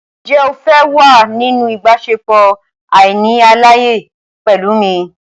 Ǹjẹ́ o fẹ́ wà nínú ìbáṣepọ̀ àìní àlàyé pẹ̀lú mi?